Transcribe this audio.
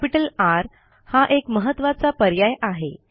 त्यापैकी R हा एक महत्त्वाचा पर्याय आहे